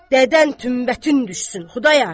Dədən tümbətin düşsün, Xudayar!